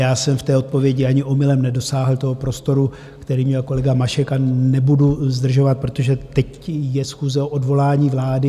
Já jsem v té odpovědi ani omylem nedosáhl toho prostoru, který měl kolega Mašek, a nebudu zdržovat, protože teď je schůze o odvolání vlády.